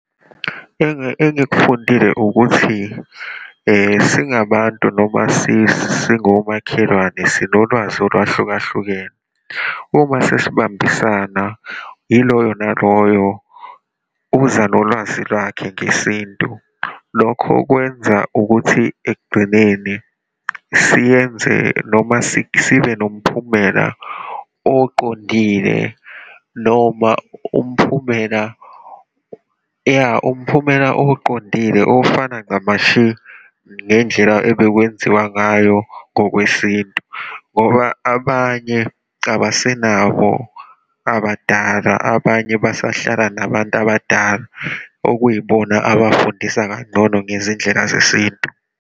Engikufundile ukuthi singabantu noma singomakhelwane sinolwazi olwahlukahlukene, uma sesibambisana ilona loyo uza nolwazi lwakhe ngesintu. Lokho kwenza ukuthi ekugcineni siyenze noma sibe nomphumela oqondile, noma umphumela, iya, umphumela oqondile ofana ncamashi ngey'ndlela obekwenziwa ngayo ngokwesintu. Ngoba abanye cabasenabo abadala, abanye basahlala nabantu abadala, okuyibona abafundisa kangcono ngezindlela zesintu.